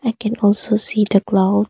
I can also see the clouds.